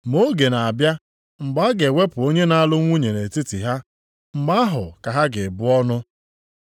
Ma oge na-abịa mgbe a ga-ewepụ onye na-alụ nwunye nʼetiti ha, mgbe ahụ ka ha ga-ebu ọnụ.”